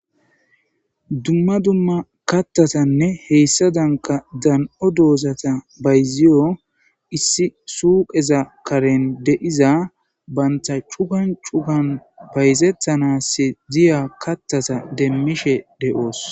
dumma dumma kattatanne heyssa danka dan7o doozata bayziyo issi suuqeza karen deiza banta cukan cukan bayzettanas diya kattata demmishe de7oos